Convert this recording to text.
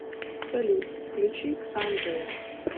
салют включи ксандриа